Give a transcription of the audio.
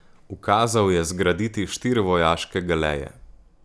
Ukazal je zgraditi štiri vojaške galeje.